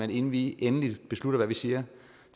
at inden vi endelig beslutter hvad vi siger